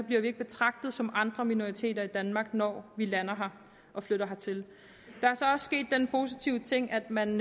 bliver vi ikke betragtet som andre minoriteter i danmark når vi lander her og flytter hertil der er så også sket den positive ting at man